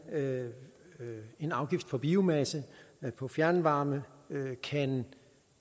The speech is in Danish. en afgift på biomasse på fjernvarme kan